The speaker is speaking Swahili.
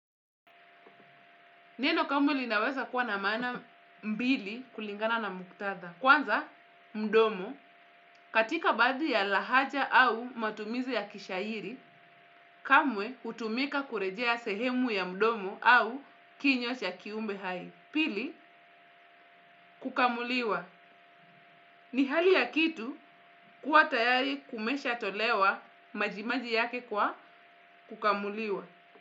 Neno kamwe linaweza kuwa na maana mbili kulingana na muktadha? Kwanza, mdomo. Katika baadhi ya lahaja au matumizi ya kishairi, kamwe hutumika kurejea sehemu ya mdomo au kinywa cha kiumbe hai. Pili, kukamuliwa. Ni hali ya kitu kuwa tayari kumeshatolewa majimaji yake kwa kukamuliwa.